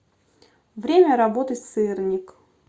время работы сырник